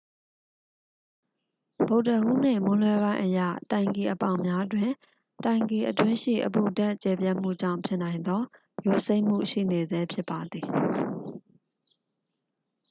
ဗုဒ္ဓဟူးနေ့ မွန်းလွဲပိုင်းအရ တိုင်ကီအပေါက်များတွင် တိုင်ကီအတွင်းရှိ အပူဓာတ် ကျယ်ပြန့်မှုကြောင့် ဖြစ်နိုင်သော ယိုစိမ့်မှု ရှိနေဆဲဖြစ်ပါသည်